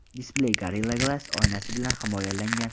Displey Gorilla Glass oynasi bilan himoyalangan.